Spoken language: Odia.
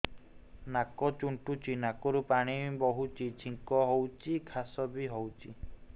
ନାକ ଚୁଣ୍ଟୁଚି ନାକରୁ ପାଣି ବହୁଛି ଛିଙ୍କ ହଉଚି ଖାସ ବି ହଉଚି